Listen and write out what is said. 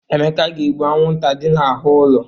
Emeka ga-egbu anwụnta dị n'ahụ ụlọ.